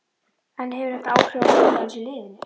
En hefur þetta áhrif á stöðu hans í liðinu?